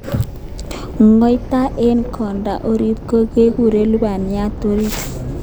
Ngotai eng konda orit kekure lubaniatab orit